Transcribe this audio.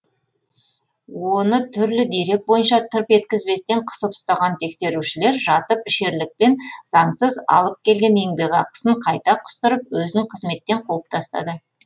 оны түрлі дерек бойынша тырп еткізбестен қысып ұстаған тексерушілер жатып ішерлікпен заңсыз алып келген еңбекақысын қайта құстырып өзін қызметтен қуып тастады